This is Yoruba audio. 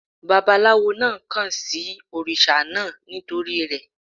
Bàbálawo náà kàn sí òrìṣà náà nítorí rẹ̀.